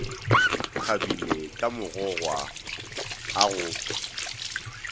kgabile ka magogwa a go